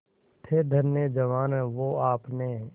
थे धन्य जवान वो आपने